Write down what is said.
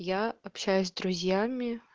я общаюсь с друзьями